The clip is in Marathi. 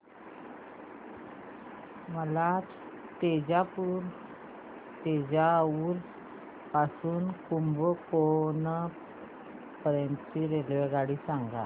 मला तंजावुर पासून तर कुंभकोणम पर्यंत ची रेल्वेगाडी सांगा